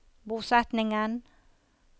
bosetningen